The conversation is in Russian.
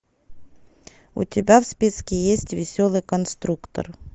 у тебя в списке есть веселый конструктор